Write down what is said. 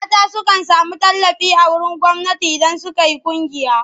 Mata sukan sami tallafi a wurin gwamnati idan suka yi ƙungiya.